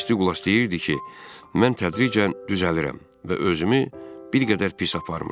Miss Duqlas deyirdi ki, mən tədricən düzəlirəm və özümü bir qədər pis aparmıram.